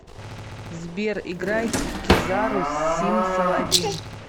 сбер играй кизару сим салабим